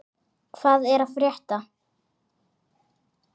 Hvað er að frétta!